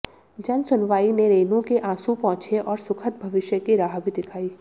जनसुनवाई ने रेनू के आंसू पौंछे और सुखद भविष्य की राह भी दिखाई